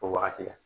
O wagati la